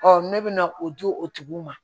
ne bɛna o di o tigiw ma